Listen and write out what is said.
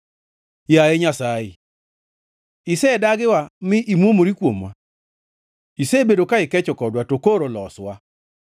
Yaye Nyasaye, isedagiwa mi imuomori kuomwa; isebedo ka ikecho kodwa, to koro loswa!